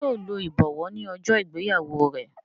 ṣe yíò ló ibọwọ ní ojó ìgbéyàwó rẹ?